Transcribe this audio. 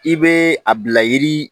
I bɛ a bila yiri